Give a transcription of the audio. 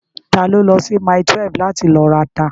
Ta ló lọ sí mile 12 láti lọ rata?